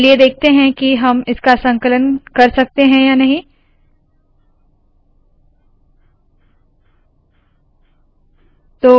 चलिए देखते है की हम इसका संकलन कर सकते है या नहीं